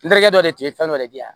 N terikɛ dɔ de tun bɛ fɛn dɔ de di yan